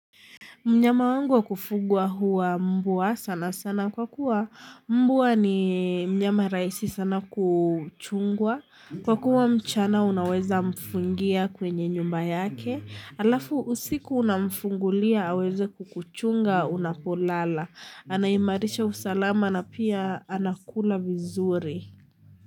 Mnyama wangu wa kufugwa huwa mbwa sana sana kwa kuwa mbwa ni mnyama raisi sana kuchungwa kwa kuwa mchana unaweza mfungia kwenye nyumba yake alafu usiku una mfungulia aweze kukuchunga unapolala anaimarisha usalama na pia anakula vizuri.